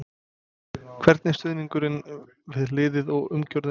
Hvernig er stuðningurinn við liðið og umgjörðin?